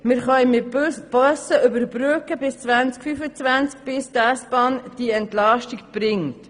Mit Bussen können wir bis 2025 überbrücken, bis die S-Bahn die Entlastung bringt.